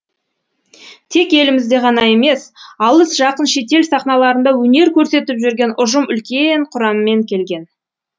тек елімізде ғана емес алыс жақын шетел сахналарында өнер көрсетіп жүрген ұжым үлкен құраммен келген